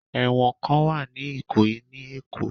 Ẹ̀wọ̀n kan wà ní ìkòyí ní èkó